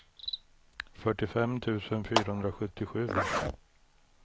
fyrtiofem tusen fyrahundrasjuttiosju